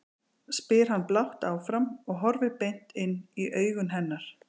spyr hann blátt áfram og horfir beint inn í augu hennar.